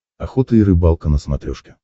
охота и рыбалка на смотрешке